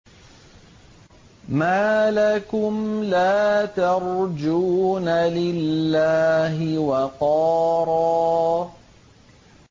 مَّا لَكُمْ لَا تَرْجُونَ لِلَّهِ وَقَارًا